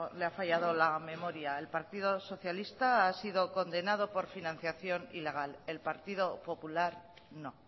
le ha fallado la memoria el partido socialista ha sido condenado por financiación ilegal el partido popular no